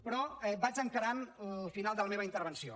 però vaig encarant el final de la meva intervenció